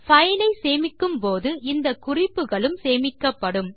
பைலை சேமிக்கும்போது இந்த குறிப்புகளும் சேர்த்து சேமிக்கப்படும்